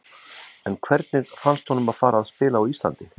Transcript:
En hvernig fannst honum að fara að spila á Íslandi?